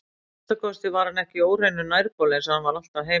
Að minnsta kosti var hann ekki á óhreinum nærbol eins og hann var alltaf heima.